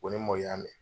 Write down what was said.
Ko ni mɔw y'a mɛn